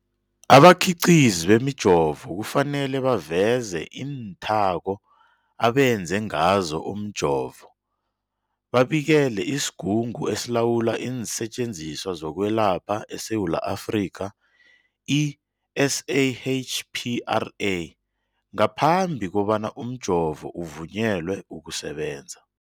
Abakhiqizi bemijovo kufanele baveze iinthako abenze ngazo umjovo, babikele isiGungu esiLawula iinSetjenziswa zokweLapha eSewula Afrika, i-SAHPRA, ngaphambi kobana umjovo uvunyelwe ukusebenza.